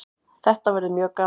Þetta verður mjög gaman